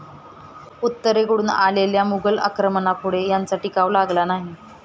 उत्तरेकडून आलेल्या मुघल आक्रमणापुढे त्यांचा टिकाव लागला नाही.